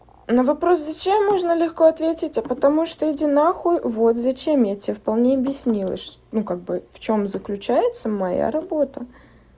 на вопрос зачем можно легко ответить а потому что иди нахуй вот зачем я тебе вполне объяснила ш ну как бы в чём заключается моя работа